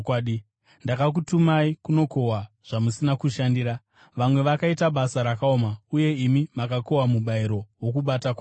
Ndakakutumai kunokohwa zvamusina kushandira. Vamwe vakaita basa rakaoma, uye imi makakohwa mubayiro wokubata kwavo.”